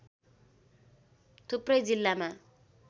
थुप्रै जिल्लामा